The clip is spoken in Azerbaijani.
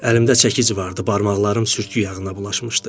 Əlimdə çəkic vardı, barmaqlarım sürtkü yağına bulaşmışdı.